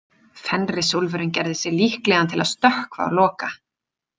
Fenrisúlfurinn gerði sig líklegan til að stökkva á Loka.